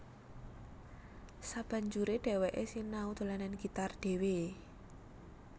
Sabanjuré dhèwèké sinau dolanan gitar dhéwé